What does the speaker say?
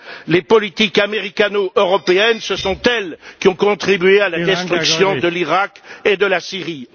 Quant aux politiques américano européennes, ce sont elles qui ont contribué à la destruction de l'Iraq et de la Syrie.